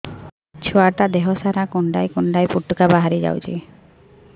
ଛୁଆ ଟା ଦେହ ସାରା କୁଣ୍ଡାଇ କୁଣ୍ଡାଇ ପୁଟୁକା ବାହାରି ଯାଉଛି